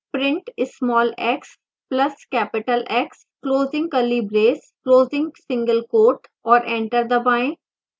print small x plus capital x closing curly brace closing single quote और enter दबाएं